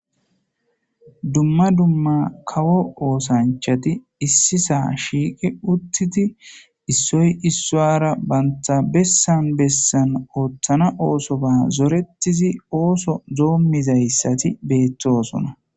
Dumma dumma kawo oosanchati issisan shiiqi uttidi issoy issowara banta bessan bessan oothana ootho zorettizi ootho doommzaysazi beettosona.